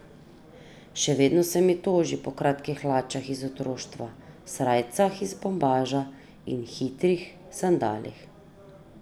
Še vedno se mi toži po kratkih hlačah iz otroštva, srajcah iz bombaža in hitrih sandalih.